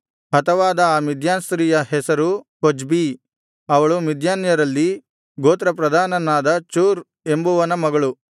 ಹತವಾದ ಆ ಮಿದ್ಯಾನ್ ಸ್ತ್ರೀಯ ಹೆಸರು ಕೊಜ್ಬೀ ಅವಳು ಮಿದ್ಯಾನ್ಯರಲ್ಲಿ ಗೋತ್ರ ಪ್ರಧಾನನಾದ ಚೂರ್ ಎಂಬುವನ ಮಗಳು